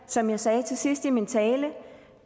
som jeg sagde til sidst i min tale